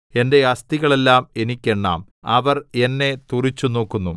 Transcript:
എന്റെ അസ്ഥികളെല്ലാം എനിക്ക് എണ്ണാം അവർ എന്നെ തുറിച്ച് നോക്കുന്നു